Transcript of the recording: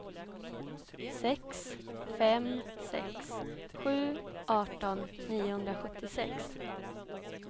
sex fem sex sju arton niohundrasjuttiosex